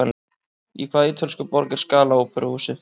Í hvaða ítölsku borg er Scala óperuhúsið?